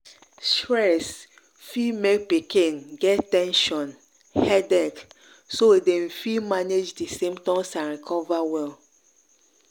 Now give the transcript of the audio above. stress fit make pikin get ten sion headache so dem fit manage di symptoms and recover well.